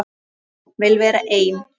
Vil vera ein.